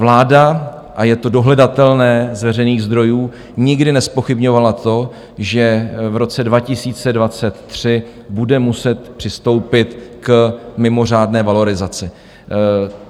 Vláda, a je to dohledatelné z veřejných zdrojů, nikdy nezpochybňovala to, že v roce 2023 bude muset přistoupit k mimořádné valorizaci.